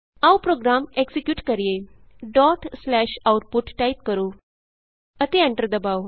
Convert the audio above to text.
ਆਉ program execute ਕਰੀਏ dot slash output type ਕਰੋ ਅਤੇ ਐਂਟਰ ਦਬਾਉ